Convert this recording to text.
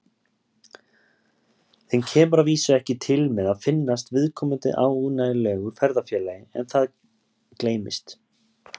Þeim kemur að vísu ekki til með að finnast viðkomandi ánægjulegur ferðafélagi en það gleymist.